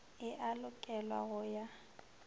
e a lokelwa go ya